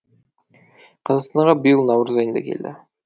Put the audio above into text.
қазақстанға биыл наурыз айында келді